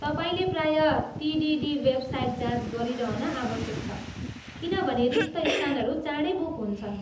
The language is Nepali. तपाईँले प्रायः टिटिडी वेबसाइट जाँच गरिरहन आवश्यक छ, किनभने रिक्त स्थानहरू चाँडै बुक हुन्छन्।